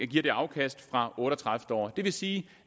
giver afkast fra otte og tredive år det vil sige